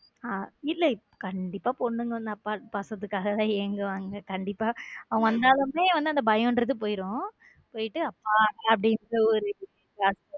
இல்ல கண்டிப்பா பொண்ணுங்க பாசத்துக்காக தான் ஏங்குவாங்க கண்டிப்பா அவங்க வந்தாலுமே அந்த பயம் போயிடும். போயிட்டு அப்பா அப்பா